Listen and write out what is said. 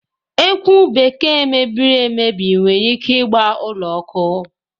Ekwụ Bekee mebiri emebi nwere ike ịgba ụlọ ọkụ.